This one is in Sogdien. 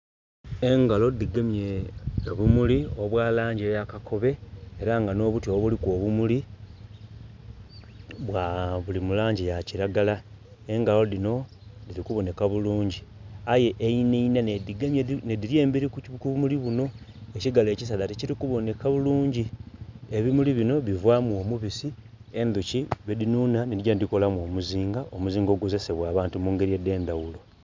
Engalo dhigemye obumuli obwa langi eya kakobe era nga nh'obuti obuliku obumuli bwa, buli mu langi ya kiragala. Engalo dhino dhili kuboneka bulungi. Aye einha inha nh'edhigemye, nh'edhili emberi ku bumuli buno, ekigalo ekisaadha tikiri kuboneka bulungi. Ebimuli bino bivaamu omubisi, endhuki gwedhinhunha nhi digya nhidhikolamu omuzinga, omuzinga ogukozesebwa abantu mu ngeri edh'endhaghulo.